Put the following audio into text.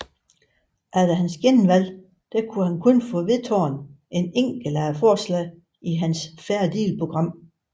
Efter hans genvalg kunne han kun få vedtaget et enkelt af forslagene i hans Fair Deal program